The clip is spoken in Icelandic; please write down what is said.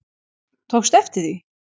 Tókstu eftir því?